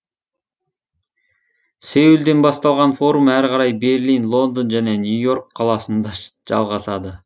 сеулден басталған форум әрі қарай берлин лондон және нью и орк қаласында жалғасады